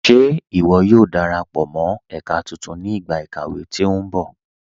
Ṣé iwó yóò darapọ mọ ẹ̀kà tuntun ni igba ikàwé tí nbọ̀?